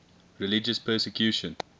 religious persecution